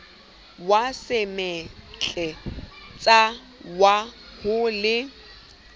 wa semetletsa wa ho le